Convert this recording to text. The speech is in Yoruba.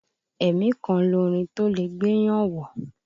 Ẹ̀mí kan lorin tólẹ̀ gbéyàn wọ̀.